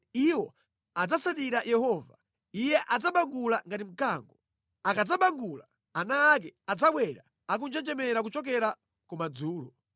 Iwo adzatsatira Yehova; Iye adzabangula ngati mkango. Akadzabangula, ana ake adzabwera akunjenjemera kuchokera kumadzulo.